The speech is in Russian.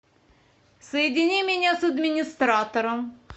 соедини меня с администратором